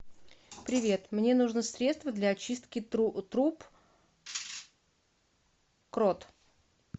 привет мне нужно средство для очистки труб крот